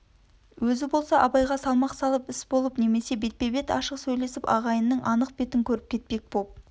өзі болса абайға салмақ салып іс болып немесе бетпе-бет ашық сөйлесіп ағайынның анық бетін көріп кетпек боп